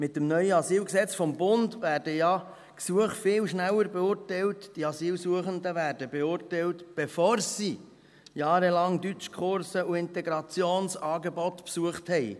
Mit dem neuen Asylgesetz (AsylG) des Bundes werden ja die Gesuche viel schneller beurteilt, die Asylsuchenden werden beurteilt, bevor sie jahrelang Deutschkurse und Integrationsangebote besucht haben.